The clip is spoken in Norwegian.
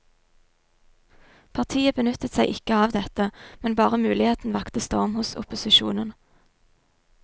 Partiet benyttet seg ikke av dette, men bare muligheten vakte storm hos opposisjonen.